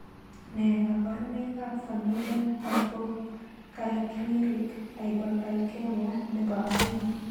Nee kabarunoikab Familial hypocalciuric hypercalcemia nebo aeng'?